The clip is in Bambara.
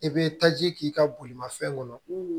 I bɛ taji k'i ka bolimafɛn kɔnɔ